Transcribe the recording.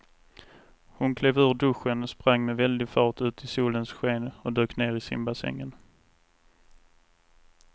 Hon klev ur duschen, sprang med väldig fart ut i solens sken och dök ner i simbassängen.